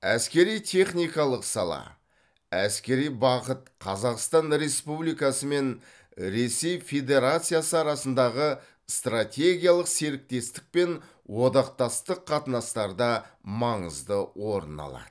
әскери техникалық сала әскери бағыт қазақстан республикасы мен ресей федерациясы арасындағы стратегиялық серіктестік пен одақтастық қатынастарда маңызды орын алады